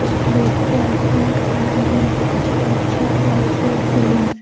कुछ लोग ब्लैक पहन कर आये हुए हैं कुछ लोग red shirt white shirt green --